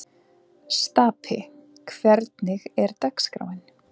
Stapi, hvernig er dagskráin?